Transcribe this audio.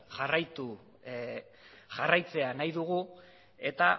jarraitzea nahi dugu eta